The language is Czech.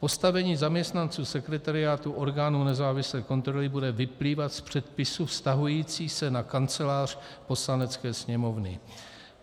Postavení zaměstnanců sekretariátu orgánu nezávislé kontroly bude vyplývat z předpisů vztahujících se na Kancelář Poslanecké sněmovny.